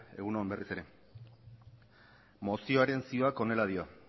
egun on berriz ere mozioaren zioak honela dio